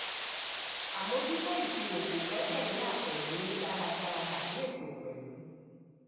àmójútó ìṣirò kò gbẹ́kẹ̀ lé àtẹ̀lẹ dáradára tàbí ètò pẹ̀lú.